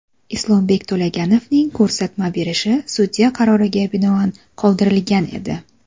Islombek To‘laganovning ko‘rsatma berishi sudya qaroriga binoan qoldirilgan edi.